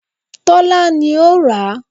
Tọ́lá ni ló ra